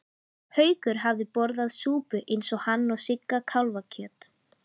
Haukur hafði borðað súpu eins og hann og Sigga kálfakjöt.